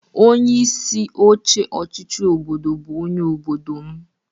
Onye isi oche ọchịchị obodo bụ onye obodo m.